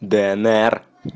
днр